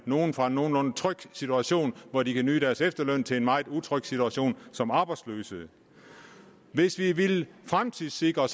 nogle fra en nogenlunde tryg situation hvor de kan nyde deres efterløn til en meget utryg situation som arbejdsløse hvis vi ville fremtidssikre